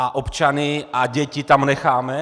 A občany a děti tam necháme?